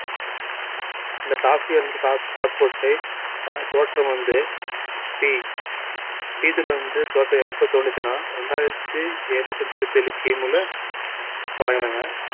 இந்த coffee அல்ல coffee கொட்டை க~ தோற்றம் வந்து tea tea தூள் வந்து எப்ப தோணுச்சுன்னா இரண்டாயிரத்தி எழுநூத்தி முப்பத்தி ஏழு கிமுல தொடங்குனாங்க